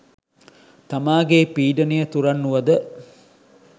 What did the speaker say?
තමාගේ පීඩනය තුරන් වුවද